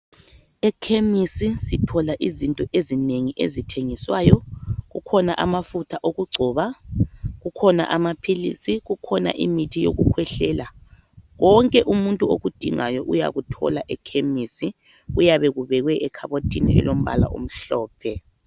Ekhemisi sithola izinto ezinengi ezithengiswayo. Kukhona amafutha okugcoba, kukhona amaphilisi, kukhona imithi yokukhwehlela. Konke umuntu okudingayo uyakuthola ekhemisi. Kuyabe kubekwe ekhabothini elombabala omhlophe.